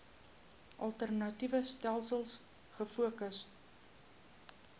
alternatiewe stelsels gefokus